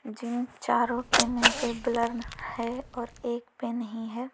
जिन चारों के मुंह पे ब्लर है और एक पे नहीं है।